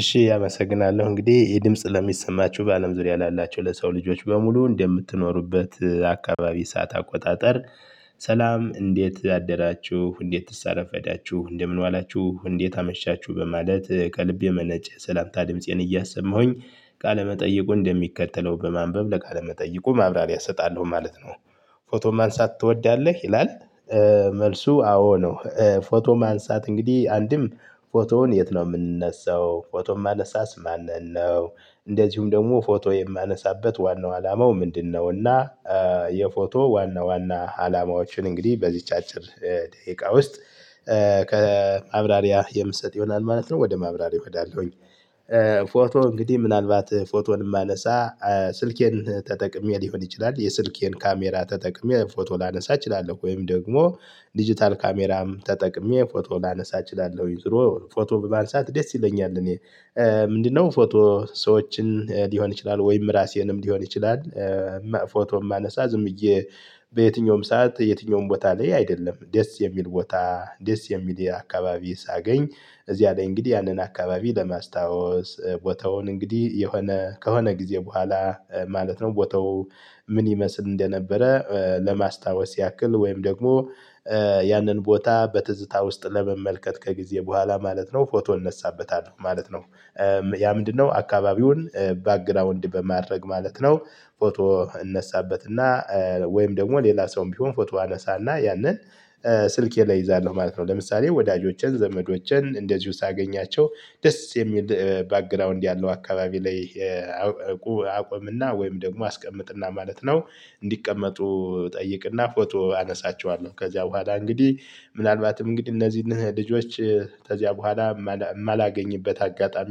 እሺ አመሰግናለሁ እንግዲህ ይሄ የድምጽ ለሚሰማችሁ በአለም ዙሪያ ላላችሁ ለሰው ልጆች በሙሉ እንደምትኖሩበት አካባቢ ሰዓት አቆጣጠር። ሰላም እንዴት አደራችሁ እንዴትስ አረፈዳችሁ እንደምን ዋላችሁ እንዴት አመሻችሁ በማለት ከልቤ የመነጨ ሰላምታ ድምፄን እያሰማሁኝ ቃለመጠይቁ እንደሚከተለው በማንበብ ለቃለመጠይቁ ማብራሪያ እሰጣለሁ ማለት ነው። ፎቶ ማንሳት ትወዳለህ ይላል? መልሱ አዎ ነው። ፎቶ ማንሳት እንግዲህ አንድም ፎቶውን የት ነው የምንነሳው? ፎቶም ማነሳስ ማንን ነው? እንደዚሁም ደግሞ ፎቶ የማነሳበት ዋናው አላማው ምንድነው? እና የፎቶ ዋና ዋና አላማዎችን እንግዲህ በዚች አጭር ደቂቃ ውስጥ ከማብራሪያ የምሰጥ ይሆናል ማለት ነው ወደ ማብራሪያው እሄዳለሁኝ። ፎቶ እንግዲህ ምናልባት ፎቶን ማነሳ ስልኬን ተጠቅሜ ሊሆን ይችላል። የስልኬን ካሜራ ተጠቅሜ ፎቶ ላነሳ እችላለሁ ወይም ደግሞ ዲጂታል ካሜራም ተጠቅሜ ፎቶ ላነሳ እችላለሁ። ዙሮ ፎቶ በማንሳት ደስ ይለኛል። እኔ ምንድነው ፎቶ ሰዎችን ሊሆን ይችላል ወይም ራሴንም ሊሆን ይችላል። ፎቶ የማነሳ ዝም ብዬ በየትኛውም ሰዓት የትኛውም ቦታ ላይ አይደለም ደስ የሚል ቦታ ደስ የሚል የአካባቢ ሳገኝ። እዚያ ላይ እንግዲህ ያንን አካባቢ ለማስታወስ ቦታውን እንግዲህ የሆነ ከሆነ ጊዜ በኋላ ማለት ነው። ቦታው ምን ይመስል እንደነበረ ለማስታወስ ያክል ወይም ደግሞ ያንን ቦታ በትዝታ ውስጥ ለመመልከት ከጊዜ በኋላ ማለት ነው ፎቶ እነሳበታለሁ ማለት ነው። ያ ምንድነው አካባቢውን ባግራውንድ በማድረግ ማለት ነው? ፎቶ እነሳበት እና ወይም ደግሞ ሌላ ሰውም ቢሆን ፎቶ አነሳና ያንን ስልኬ ላይ እይዛለሁ ማለት ነው። ለምሳሌ ወዳጆቼን ዘመዶቼን እንደዚሁ ሳገኛቸው ደስ የሚል ባግራውንድ ያለው አካባቢ ላይ አቆምና ወይም ደግሞ አስቀምጥና ማለት ነው። እንዲቀመጡ እጠይቅና ፎቶ አነሳቸዋለሁ። ከዚያ በኋላ እንግዲህ ምናልባትም እንግዲህ እነዚህን ልጆች ከዚያ በኋላ የማላገኝበት አጋጣሚ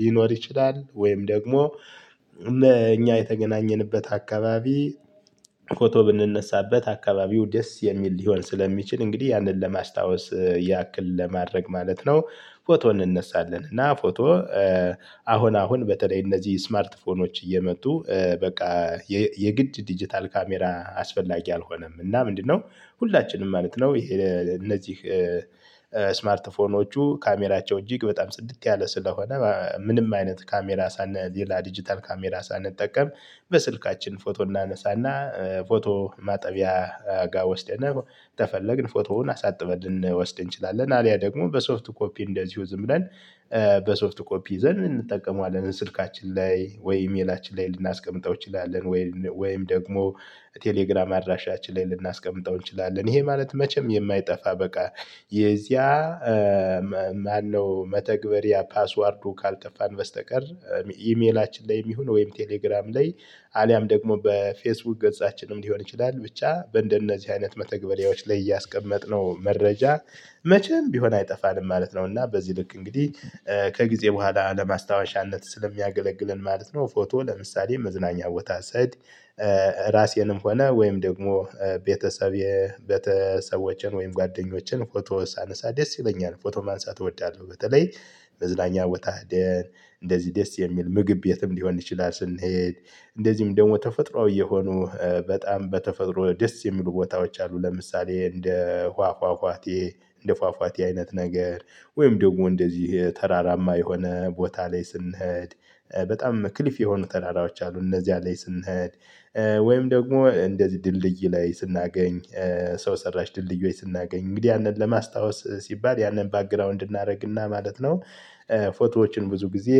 ሊኖር ይችላል። ወይም ደግሞ እኛ የተገናኘንበት አካባቢ ፎቶ ብንነሳበት አካባቢው ደስ የሚል ሊሆን ስለሚችል እንግዲህ ያንን ለማስታወስ ያክል ለማድረግ ማለት ነው። ፎቶ እንነሳለን እና ፎቶ አሁን አሁን በተለይ እነዚህ ስማርት ፎኖች እየመጡ በቃ የግድ ዲጂታል ካሜራ አስፈላጊ አልሆነም። እና ምንድነው ሁላችንም ማለት ነው ይሄ እነዚህ ስማርት ፎኖቹ ካሜራቸው እጅግ በጣም ጽድት ያለ ስለሆነ ምንም አይነት ካሜራ ሳንል ሌላ ዲጂታል ካሜራ ሳንጠቀም። በስልካችን ፎቶ እናነሳና ፎቶ ማጠቢያ ጋር ወስደነህ ተፈለግን ፎቶውን አሳጥበን ልንወስድ እንችላለን። አሊያ ደግሞ በሶፍት ኮፒ እንደዚሁ ዝም ብለን በሶፍት ኮፒ ዘንድ እንጠቀመዋለን ስልካችን ላይ ወይ ኢሜላችን ላይ ልናስቀምጠው እንችላለን። ወይም ደግሞ ቴሌግራም አድራሻችን ላይ ልናስቀምጠው እንችላለን። ይሄ ማለት መቼም የማይጠፋ በቃ የዚያ ማነው መተግበሪያ ፓስዋወርዱ ካልጠፋን በስተቀር። ኢሜላችን ላይም ይሁን ወይም ቴሌግራም ላይ አሊያም ደግሞ በፌስቡክ ገጻችንም ሊሆን ይችላል ብቻ በእንደነዚህ አይነት መተግበሌዎች ላይ ያስቀመጥነው መረጃ መቼም ቢሆን አይጠፋንም ማለት ነው። እና በዚህ ልክ እንግዲህ ከጊዜ በኋላ ለማስታወሻነት ስለሚያገለግለን ማለት ነው። ፎቶ ለምሳሌ መዝናኛ ቦታ ስሄድ ራሴንም ሆነ ወይም ደግሞ ቤተሰቤ ቤተሰቦቼን ወይም ጓደኞቼን ፎቶ ሳነሳ ደስ ይለኛል። ፎቶ ማንሳት እወዳለሁ። በተለይ መዝናኛ ቦታ ሄደን እንደዚህ ደስ የሚል ምግብ ቤትም ሊሆን ይችላል። ስንሄድ እንደዚህም ደግሞ ተፈጥሮአዊ የሆኑ በጣም በተፈጥሮ ደስ የሚሉ ቦታዎች አሉ። ለምሳሌ እንደ ውሃ ፏፏቴ እንደ ፏፏቴ አይነት ነገር። ወይም ደግሞ እንደዚህ ተራራማ የሆነ ቦታ ላይ ስንሄድ በጣም ክሊፍ የሆኑ ተራራዎች አሉ። እነዚያ ላይ ስንሄድ ወይም ደግሞ እንደዚህ ድልድይ ላይ ስናገኝ ሰው ሰራሽ ድልድዮች ስናገኝ እንግዲህ ያንን ለማስታወስ ሲባል ያንን ባክግራውንድ እናደርግና ማለት ነው። ፎቶዎችን ብዙ ጊዜ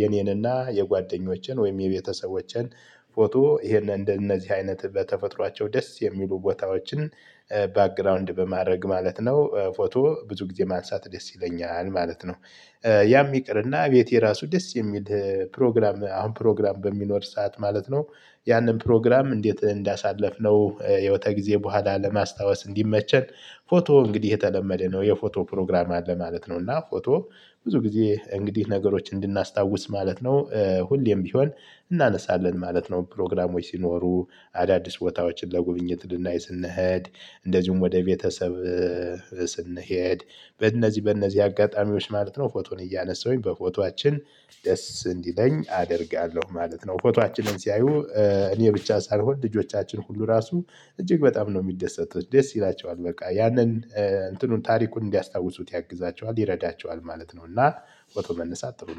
የኔንና የጓደኞቼን ወይም የቤተሰቦቼን ፎቶ ይሄንን እንደነዚህ አይነት በተፈጥሯቸው ደስ የሚሉ ቦታዎችን ባክግራውንድ በማድረግ ማለት ነው። ፎቶ ብዙ ጊዜ ማንሳት ደስ ይለኛል ማለት ነው። ያም ይቅርና ቤቴ ራሱ ደስ የሚል ፕሮግራም አሁን ፕሮግራም በሚኖር ሰዓት ማለት ነው። ያንን ፕሮግራም እንዴት እንዳሳለፍነው ያው ከጊዜ በኋላ ለማስታወስ እንዲመቸን ፎቶ እንግዲህ የተለመደ ነው። የፎቶ ፕሮግራም አለ ማለት ነው። እና ፎቶ ብዙ ጊዜ እንግዲህ ነገሮች እንድናስታውስ ማለት ነው። ሁሌም ቢሆን እናነሳለን ማለት ነው። ፕሮግራሞች ሲኖሩ አዳዲስ ቦታዎችን ለጉብኝት ልናይ ስንሄድ እንደዚሁም ወደ ቤተሰብ ስንሄድ በእነዚህ በእነዚህ አጋጣሚዎች ማለት ነው። ፎቶን እያነሳሁኝ በፎቶአችን ደስ እንዲለኝ አደርጋለሁ ማለት ነው። ፎቶአችንን ሲያዩ እኔ ብቻ ሳልሆን ልጆቻችን ሁሉ ራሱ እጅግ በጣም ነው የሚደሰቱት ደስ ይላቸዋል በቃ ያንን እንትኑን ታሪኩን እንዲያስታውሱት ያግዛቸዋል ይረዳቸዋል ማለት ነው። እና ፎቶ መነሳት ጥሩ ነው